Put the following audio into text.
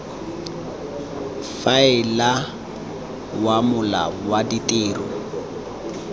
faela wa mola wa ditiro